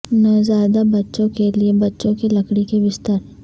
نوزائیدہ بچوں کے لئے بچوں کے لکڑی کے بستر